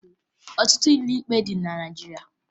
Ọtụtụ ụlọ ikpe dị na Naịjirịa